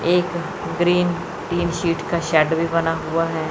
एक green tin sheet का shed भी बना हुआ है।